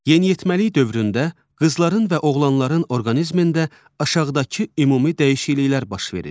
Yeniyetməlik dövründə qızların və oğlanların orqanizmində aşağıdakı ümumi dəyişikliklər baş verir.